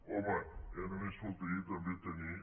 home ja només faltaria també tenir